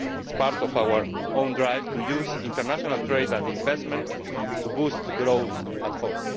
It is part of our own drive to use international trade and investment to boost growth at home.